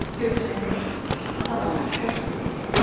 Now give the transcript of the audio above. Görüşəndə salam, xoş gördük.